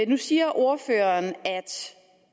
nu siger ordføreren at det